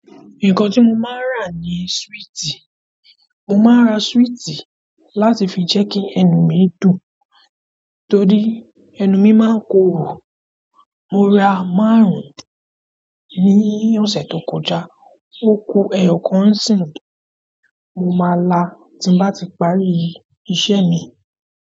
Nǹkan tí mo máa ń rà ní súwìtì, mo máa ń ra súwìtì láti fi jẹ́ kí ẹnu mi dùn torí ẹnu mi máa ń korò. Mo ra máàrún ní ọ̀sẹ̀ tó kọjá oku ẹyọkan nsin mo máa la ti bá ti parí iṣẹ́ mi.